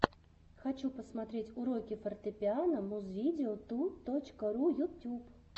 хочу посмотреть уроки фортепиано музвидео ту точка ру ютюб